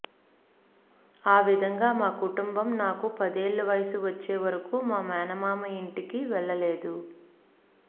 ఆ విధంగా మా కుటుంబం నాకు పదేళ్ల వయసు వచ్చే వరకూ మా మేనమామ ఇంటికి వెళ్లలేదు